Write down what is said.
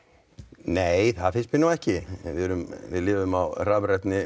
nei það finnst mér nú ekki við lifum á rafrænum